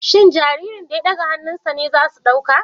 Shin jaririn da ya ɗaga hannunsa ne za su ɗauka